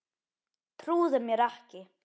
Trúði mér ekki.